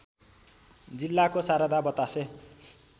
जिल्लाको शारदा बतासे